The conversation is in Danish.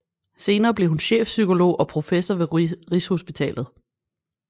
Senere blev hun chefpsykolog og professor ved Rigshospitalet